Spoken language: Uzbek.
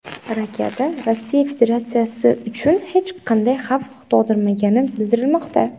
Raketa Rossiya Federatsiyasi uchun hech qanday xavf tug‘dirmagani bildirilmoqda.